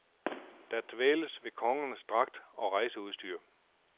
Der dvæles ved kongernes dragter og rejseudstyr.